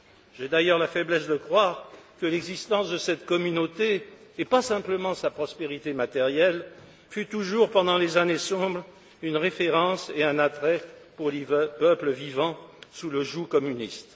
J'ai d'ailleurs la faiblesse de croire que l'existence de cette Communauté, et pas simplement sa prospérité matérielle, fut toujours pendant les années sombres une référence et un attrait pour les peuples vivant sous le joug communiste.